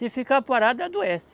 Se ficar parado, adoece.